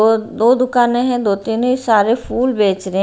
और दो दुकानें हैं दो तीन सारे फूल बेच रहे हैं।